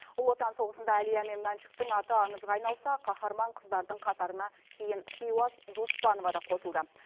ұлы отан соғысында әлия мен мәншүктің аты аңызға айналса қаһарман қыздардың қатарына кейін хиуаз доспанова да қосылды